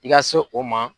I ka se o ma